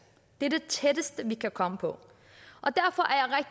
det er det tætteste vi kan komme på